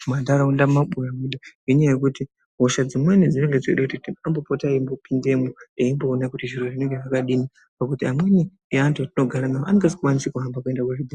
mumanharaunda mumabuya muyaa. Ngenyaya yekuti hosha dzimweni dzinenge dzeida kuti vambopota eimbopindamwo eimboona kuti zviro zvinenge zvakadini. Ngekuti amweni eantu atinogara nawo anenge asingakoni kuhamba kuenda kuzvibhendleya